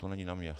To není na mě.